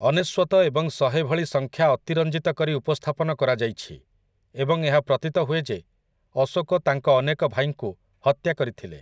ଅନେଶ୍ୱତ ଏବଂ ଶହେ ଭଳି ସଂଖ୍ୟା ଅତିରଞ୍ଜିତ କରି ଉପସ୍ଥାପନ କରାଯାଇଛି ଏବଂ ଏହା ପ୍ରତୀତ ହୁଏ ଯେ ଅଶୋକ ତାଙ୍କ ଅନେକ ଭାଇଙ୍କୁ ହତ୍ୟା କରିଥିଲେ ।